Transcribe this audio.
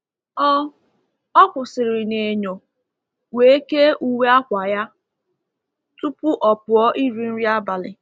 Ọ Ọ kwụsịrị n’enyo, wee kee uwe akwa ya tupu o pụọ iri nri abalị.